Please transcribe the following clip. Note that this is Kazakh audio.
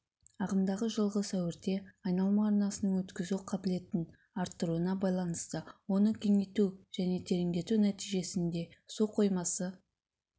ағымдағы жылғы сәуірде айналма арнасының өткізу қабілетін арттыруына байланысты оны кеңейту және тереңдету нәтижесінде су қоймасы